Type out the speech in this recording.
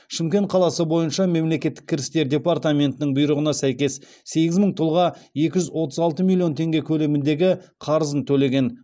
шымкент қаласы бойынша мемлекеттік кірістер департаментінің бұйрығына сәйкес сегіз мың тұлға екі жүз отыз алты миллион теңге көлеміндегі қарызын төлеген